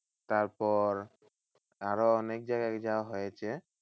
তারপর আরো অনেক জায়গায় যাওয়া হয়েছে।